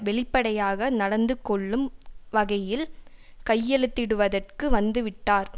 வெளிப்படையாக நடந்து கொள்ளும் வகையில் கையெழுத்திடுவதற்கு வந்து விட்டார்